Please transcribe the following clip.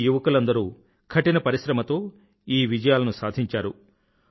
ఈ యువకులందరూ కఠిన పరిశ్రమతో ఈ విజయాలను సాధించారు